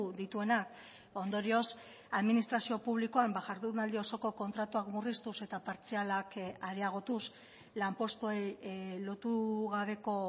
dituenak ondorioz administrazio publikoan jardunaldi osoko kontratuak murriztuz eta partzialak areagotuz lanpostuei lotu gabeko